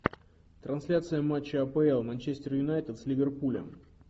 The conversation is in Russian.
трансляция матча апл манчестер юнайтед с ливерпулем